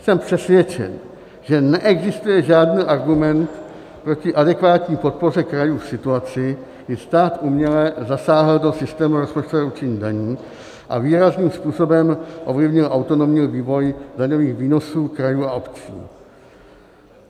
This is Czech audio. Jsem přesvědčen, že neexistuje žádný argument proti adekvátní podpoře krajů v situaci, kdy stát uměle zasáhl do systému rozpočtového určení daní a výrazným způsobem ovlivnil autonomní vývoj daňových výnosů krajů a obcí.